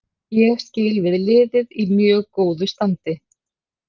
Ég skil við liðið í mjög góðu standi.